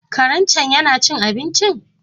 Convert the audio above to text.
Karen cen yana cin abincin?